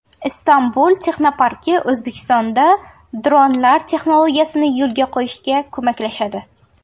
Istanbul texnoparki O‘zbekistonda dronlar texnologiyasini yo‘lga qo‘yishda ko‘maklashadi.